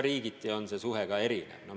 Riigiti on see määr muidugi erinev.